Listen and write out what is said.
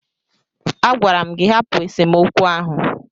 Agwara m gị hapụ esemokwu ahụ!